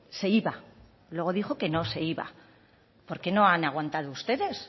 se iba luego dijo que no se iba por qué no han aguantado ustedes